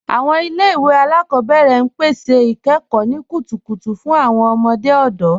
Awọn ilẹ̀-iwe alákọbẹ̀rẹ̀ n pẹ̀sẹ̀ ikẹ́kọ̀ ni kútùkùtù fún awọn ọmọdé ọdọ.